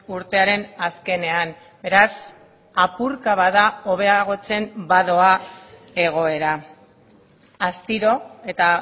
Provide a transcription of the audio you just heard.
urtearen azkenean beraz apurka bada hobeagotzen badoa egoera astiro eta